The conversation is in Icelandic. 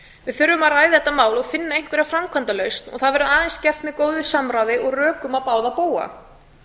við þurfum að ræða þetta mál og finna einhverja framkvæmdalausn og það verður aðeins gert með góðu samráði og rökum á báða bóga